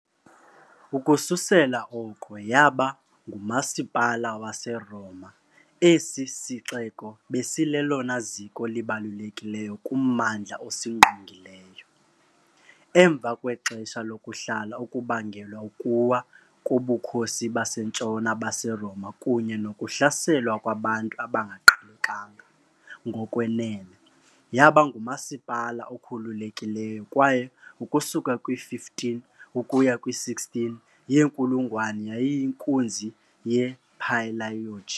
Ukususela oko yaba "ngumasipala" waseRoma esi sixeko besilelona ziko libalulekileyo kummandla osingqongileyo, emva kwexesha lokuhla okubangelwa ukuwa koBukhosi baseNtshona baseRoma kunye nokuhlaselwa kwabantu abangaqhelekanga, ngokwenene, yaba ngumasipala okhululekileyo kwaye ukusuka kwi -15 ukuya kwi -16 yenkulungwane yayiyinkunzi yePalaiologi.